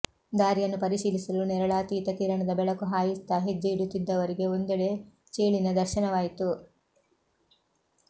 ದಾರಿಯನ್ನು ಪರಿಶೀಲಿಸಲು ನೇರಳಾತೀತ ಕಿರಣದ ಬೆಳಕು ಹಾಯಿಸುತ್ತಾ ಹೆಜ್ಜೆಯಿಡುತ್ತಿದ್ದವರಿಗೆ ಒಂದೆಡೆ ಚೇಳಿನ ದರ್ಶನವಾಯಿತು